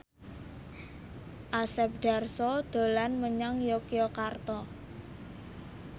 Asep Darso dolan menyang Yogyakarta